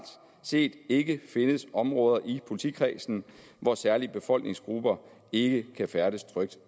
set ikke findes områder i politikredsen hvor særlige befolkningsgrupper ikke kan færdes trygt